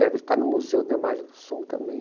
Deve estar no Museu da Imagens do Som também.